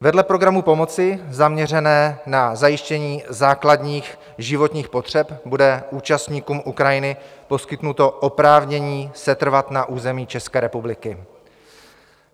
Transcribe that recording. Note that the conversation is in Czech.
Vedle programu pomoci zaměřeného na zajištění základních životních potřeb bude účastníkům Ukrajiny poskytnuto oprávnění setrvat na území České republiky.